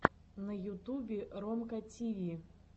на ютубе ромка тиви